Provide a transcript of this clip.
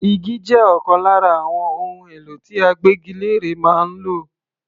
Igi jẹ́ ọ̀kan lára àwọn ohun èlò tí agbégilére máa ń lò.